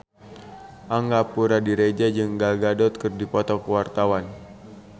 Angga Puradiredja jeung Gal Gadot keur dipoto ku wartawan